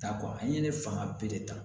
Ta an ye ne fanga bɛɛ de ta